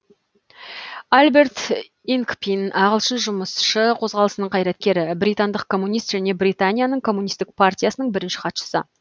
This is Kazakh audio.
альберт инкпин ағылшын жұмысшы қозғалысының қайраткері британдық коммунист және британияның коммунисттік партиясының бірінші хатшысы